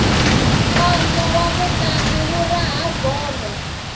nkondzo wa mutlangi wu raha bolo